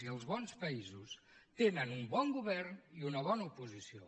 i els bons països tenen un bon govern i una bona oposició